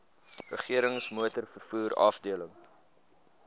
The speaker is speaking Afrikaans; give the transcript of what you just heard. regerings motorvervoer afdeling